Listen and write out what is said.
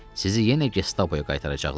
Sizi yenə gestapoya qaytaracaqlar.